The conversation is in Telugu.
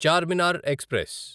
చార్మినార్ ఎక్స్ప్రెస్